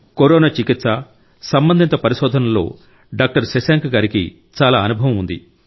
corona చికిత్స సంబంధిత పరిశోధనలలో డాక్టర్ శశాంక్ గారికి చాలా అనుభవం ఉంది